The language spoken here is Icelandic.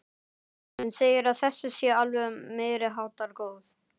Hann segir að þessi sé alveg meiriháttar góð.